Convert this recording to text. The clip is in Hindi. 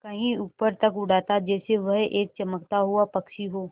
कहीं ऊपर तक उड़ाता जैसे वह एक चमकता हुआ पक्षी हो